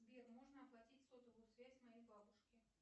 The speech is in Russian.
сбер можно оплатить сотовую связь моей бабушке